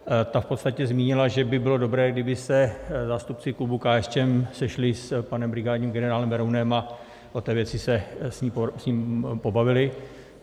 Ta v podstatě zmínila, že by bylo dobré, kdyby se zástupci klubu KSČM sešli s panem brigádním generálem Berounem a o té věci se s ním pobavili.